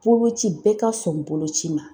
Boloci bɛɛ ka sɔn boloci ma.